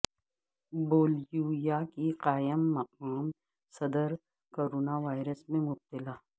Bolivia کی قائم مقام صدر کرونا وائرس میں مبتلا